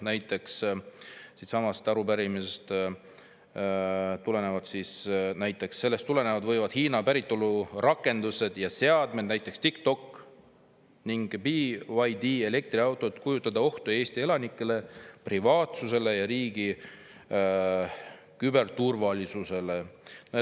Selles on öeldud, et Hiina päritolu rakendused ja seadmed, näiteks TikTok ja BYD elektriautod, võivad kujutada ohtu Eesti elanike privaatsusele ja riigi küberturvalisusele.